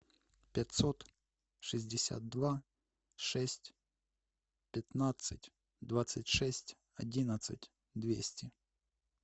пятьсот шестьдесят два шесть пятнадцать двадцать шесть одиннадцать двести